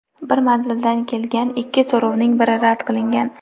Bir manzildan kelgan ikki so‘rovning biri rad qilingan.